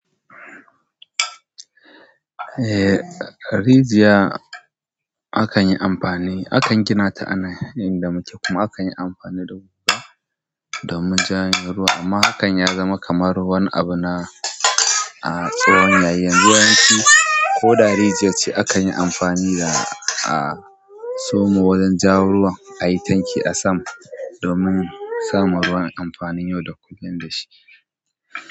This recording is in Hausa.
Eh, rijiya akan yi amfani, akan gina ta a nan inda muke kuma akan yi amfani da guga domin janyo ruwa. Amma hakan ya zama kamar wani abu na a tsowon yayin. Yawanci, ko da rijiyar ce akan yi amfani da a soma wajen ja ruwa a yi tanki a sama domin samun ruwan amfani yau da kullum da shi.